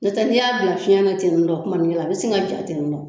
N'o tɛ ni y'a bila fiɲɛna ten in don kumani kɛ la a be se ka ja ten don